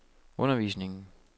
undervisningen